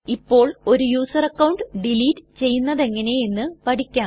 ഇപ്പോൾ ഒരു user account delete ചെയ്യുന്നതെങ്ങനെ എന്ന് പഠിക്കാം